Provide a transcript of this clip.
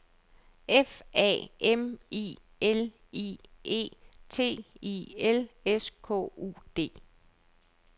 F A M I L I E T I L S K U D